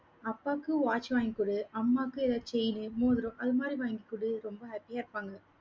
அப்பாக்கு watch வாங்கிக் குடு, அம்மாவுக்கு, ஏதாவது chain மோதிரம் அது மாதிரி, வங்கிக்குடு. ரொம்ப happy ஆ இருப்பாங்க